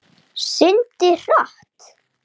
Byltum okkur báðar í einu.